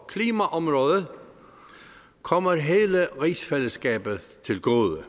klimaområdet kommer hele rigsfællesskabet til gode